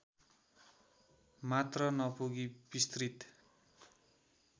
मात्र नपुगी विस्तृत